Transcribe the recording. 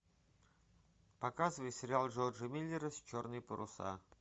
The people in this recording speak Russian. показывай сериал джорджа миллера черные паруса